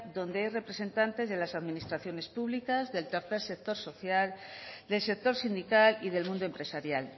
donde hay representantes de las administraciones públicas del tercer sector social del sector sindical y del mundo empresarial